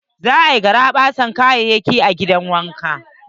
Za a yi garaɓasa da kayayaki na gidan wanka.